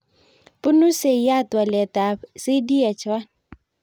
Punu seiat walet ab CDH1